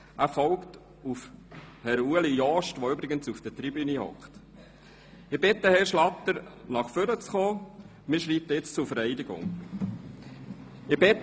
Er folgt auf Herrn Ueli Jost, der übrigens auf der Zuschauertribüne anwesend ist.